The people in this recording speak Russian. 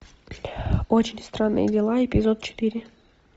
очень странные дела эпизод четыре